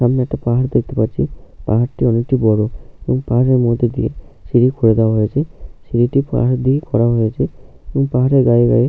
সামনে একটা পাহাড় দেখতে পাচ্ছিপাহাড়টি অনেকটি বড়এই পাহাড়ের মধ্যে দিয়ে সিঁড়ি খুঁড়ে দেওয়া হয়েছে সিঁড়ি টি পাহাড় দিয়ে খোঁড়া হয়েছে সেই পাহাড়ের গায়ে গায়ে --